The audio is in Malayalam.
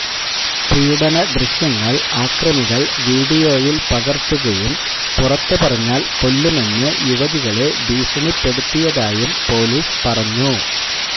പീഡന ദൃശ്യങ്ങള് ആക്രമികള് വീഡിയോയില് പകര്ത്തുകയും പുറത്തു പറഞ്ഞാല് കൊല്ലുമെന്ന് യുവതികളെ ഭീഷണിപ്പെടുത്തിയതായും പോലീസ് പറഞ്ഞു